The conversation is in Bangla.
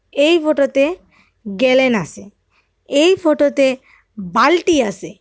এই ফটোতে গেলেন আসে এই ফটোতে বালটি আসে।